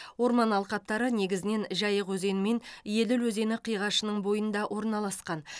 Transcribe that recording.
орман алқаптары незігінен жайық өзені мен еділ өзені қиғашының бойында орналасқан